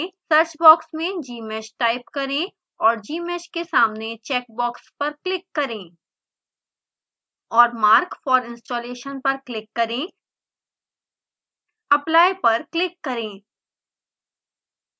search box में gmsh type करें और gmsh के सामने चैकबॉक्स पर क्लिक करें और mark for installation पर क्लिक करें apply पर क्लिक करें